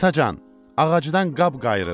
Atacan, ağacdan qab qayırıram.